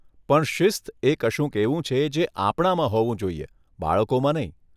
પણ શિસ્ત એ કશુંક એવું છે જે આપણામાં હોવું જોઈએ, બાળકોમાં નહીં.